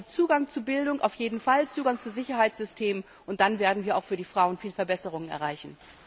Also Zugang zu Bildung auf jeden Fall, Zugang zu Sicherheitssystemen, und dann werden wir auch für die Frauen viele Verbesserungen erreichen!